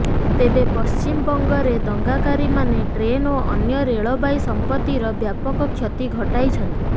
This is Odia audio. ତେବେ ପଶ୍ଚିମବଙ୍ଗରେ ଦଙ୍ଗାକାରୀମାନେ ଟ୍ରେନ ଓ ଅନ୍ୟ ରେଳବାଇ ସଂପତ୍ତିର ବ୍ୟାପକ କ୍ଷତି ଘଟାଇଛନ୍ତି